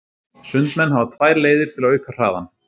Sundmenn hafa tvær leiðir til að auka hraðann.